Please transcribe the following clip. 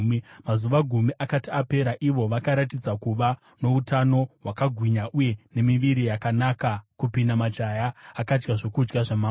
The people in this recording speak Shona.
Mazuva gumi akati apera, ivo vakaratidza kuva noutano hwakagwinya uye nemiviri yakanaka kupinda majaya akadya zvokudya zvamambo.